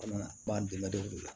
bandɔgɔ de la